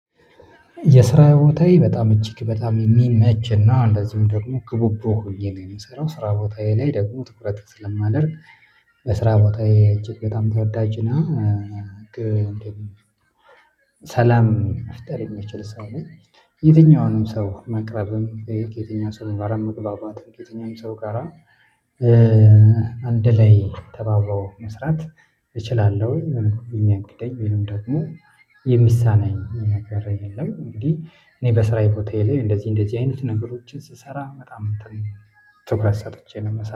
የስራ ቦታዬ በጣም እጅግ በጣም የሚመችና እንደዚሁም ደግሞ ክቡቡ ሆኜ ነው የምሰራው ስራ ቦታዬ ላይ ደግሞ ትኩረት ስለማደርግ በስራ ቦታዬ እጅግ በጣም ተወዳጅና ሰላም መፍጠር የሚችል ሰው ነኝ። የትኛውንም ሰው መቅረብም የትኛውም ሰው ጋር መግባባት የትኛውም ሰው ጋራ አንድ ላይ ተባብሮ መስራት። እችላለሁ የሆነ የሚከብደኝ ወይም ደግሞ የሚሳናኝ ነገር የለም። እንግዲህ እኔ በስራዬ ቦታየ ላይ እንደዚህ እንደዚህ አይነት ነገሮችን ስሰራ በጣም ትኩረት ሰጥቼ ነው ምሰራ